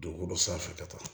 Dogo dɔ sanfɛ ka taa